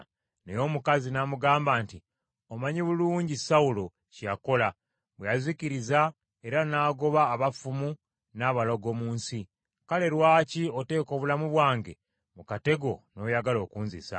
Naye omukazi n’amugamba nti, “Omanyi bulungi Sawulo kye yakola, bwe yazikiriza era n’agoba abafumu n’abalogo mu nsi. Kale lwaki oteeka obulamu bwange mu katego n’oyagala okunzisa?”